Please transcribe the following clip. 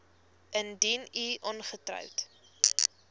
indien u ongetroud